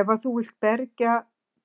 Ef að þú vilt bergja